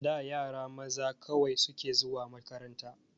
A da yara maza kaɗai suke zuwa makaranta.